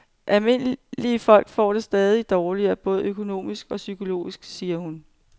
Almindelige folk får det stadig dårligere, både økonomisk og psykologisk, siger hun.